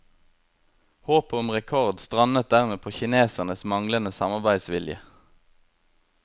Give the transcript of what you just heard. Håpet om rekord strandet dermed på kinesernes manglende samarbeidsvilje.